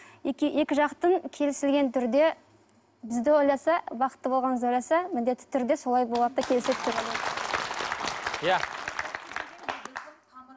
екі жақтың келісілген түрде бізді ойласа бақытты болғанымызды ойласа міндетті түрде солай болады да келіседі деп ойлаймын иә